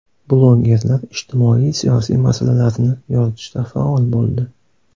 Blogerlar ijtimoiy-siyosiy masalalarni yoritishda faol bo‘ldi.